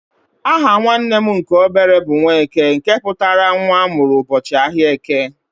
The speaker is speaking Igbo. Aha nwanne m nke obere bụ "Nwaeke" nke pụtara nwa amụrụ ụbọchị áhiá eke.